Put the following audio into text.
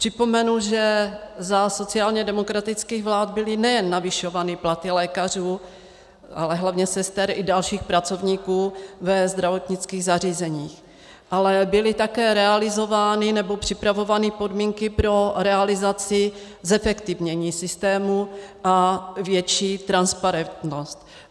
Připomenu, že za sociálně demokratických vlád byly nejen navyšovány platy lékařů, ale hlavně sester a dalších pracovníků ve zdravotnických zařízeních, ale byly také realizovány nebo připravovány podmínky pro realizaci zefektivnění systému a větší transparentnost.